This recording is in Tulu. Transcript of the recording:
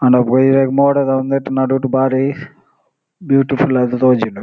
ಆಂಡ ಇರೆಗ್ ಮೋಡದ ಇಂದೆಟ್ ನಡುಟ್ ಬಾರಿ ಬ್ಯೂಟಿಫುಲ್ ಆದ್ ತೋಜುಂಡು.